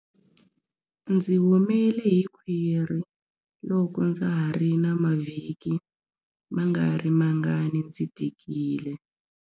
Ndzi humele hi khwiri loko ndza ha ri na mavhiki mangarimangani ndzi tikile.